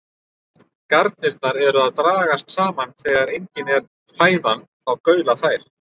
Garnirnar eru að dragast saman og þegar engin er fæðan þá gaula þær.